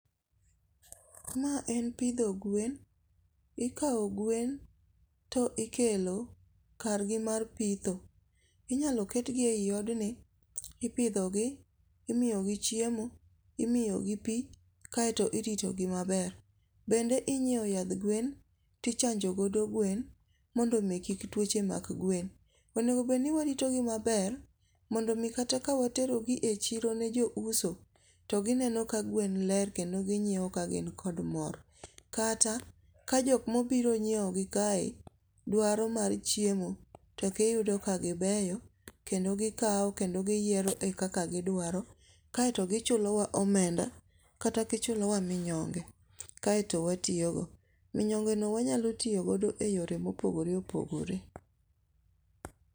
Mae en pitho gwen, ikawo gwen to ikelo kargi mar pitho, inyalo ketgie e yi odni ipidhogi imiyogi chiemo imiyogi pi kaeto iritogi maber, bende inyiewo yath gwen, tichanjo godo gwen mondo mi kik twoche mak gwen, onego bed ni waritogi maber mondo mi kata ka waterogi e chiro ne jo uso, to gineno ka gwen ler kendo ginyewo ka gin kod mor, kata ka jok ma obiro nyiewogi kae dwaro mar chiemo to giyudo ka gibeyo kendo gikawo kendo gi yiero e kaka gidwaro kaeto gichulowa omenda kata gichulowa minyonge kaeto watiyogo, minyongeno wanyalo tiyogodo e yore ma opogore opogore